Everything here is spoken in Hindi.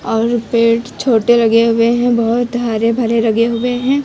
और पेड़ छोटे लगे हुए हैं बहोत हरे भरे लगे हुए हैं।